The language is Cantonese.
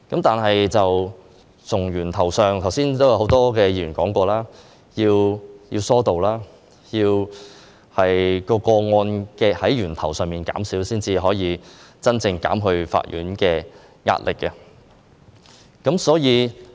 但是，正如很多議員剛才提到，要從源頭上減少個案才可以真正減輕法院的壓力。